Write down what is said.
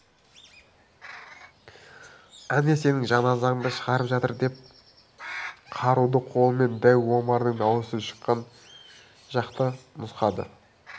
әне сенің жаназаңды шығарып жатыр деп қаруды қолымен дәу омардың дауысы шыққан жақты нұсқады